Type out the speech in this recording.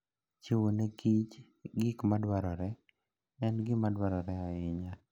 Chiwo ne kich gik madwarore en gima dwarore ahinya.